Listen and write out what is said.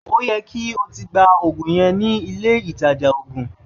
Ó yẹ kí o ti gba ògùn yẹn nílé ìtajà ògùn!